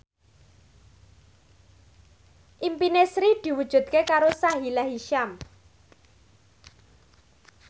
impine Sri diwujudke karo Sahila Hisyam